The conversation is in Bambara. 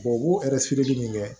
u b'u nin kɛ